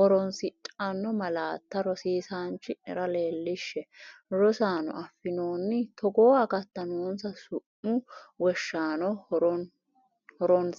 horoon- sidhanno malaatta rosiisaanchi’nera leellishshe Rosaano, affinoonni togoo akatta noonsa su’mu wonshaano horoon-.